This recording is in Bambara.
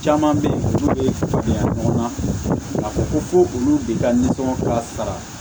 Caman bɛ yen minnu bɛ fiyɛ ɲɔgɔn na a ko ko olu de ka nisɔngɔ ka sara